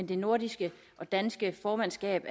det nordiske og danske formandskab